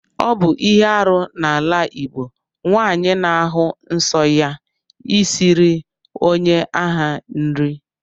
Ọbụ ihe arụ na ala igbọ nwanyi na-ahụ nsọ ya isiri onye aha nri.